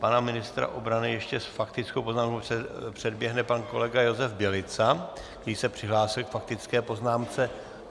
Pana ministra obrany ještě s faktickou poznámkou předběhne pan kolega Josef Bělica, který se přihlásil k faktické poznámce.